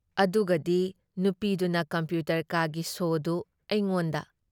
ꯑꯗꯨꯒꯗꯤ ꯅꯨꯄꯤꯗꯨꯅ ꯀꯝꯄ꯭ꯌꯨꯇꯔ ꯀꯥꯒꯤ ꯁꯣꯗꯨ ꯑꯩꯉꯣꯟꯗ